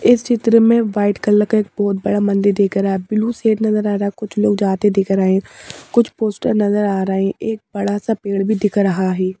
इस चित्र में व्हाइट कलर का एक बहुत बड़ा मंदिर दिख रहा ब्लू शेड नजर आ रहा कुछ लोग जाते देख रहे हैं कुछ पोस्टर नजर आ रहा है एक बड़ा सा पेड़ भी दिख रहा हैं।